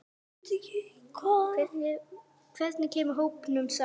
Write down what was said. Hvernig kemur hópnum saman?